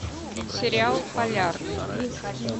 сериал полярный